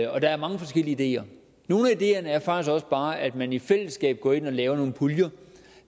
og der er mange forskellige ideer nogle af ideerne er faktisk også bare at man i fællesskab går ind og laver nogle puljer